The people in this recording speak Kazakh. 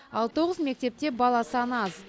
ал тоғыз мектепте бала саны аз